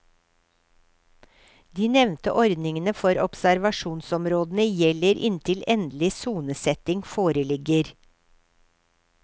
De nevnte ordningene for observasjonsområdene gjelder inntil endelig sonesetting foreligger.